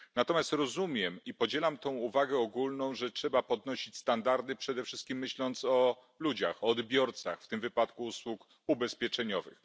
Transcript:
Natomiast rozumiem i podzielam tę uwagę ogólną, że trzeba podnosić standardy, przede wszystkim myśląc o ludziach, o odbiorcach w tym wypadku usług ubezpieczeniowych.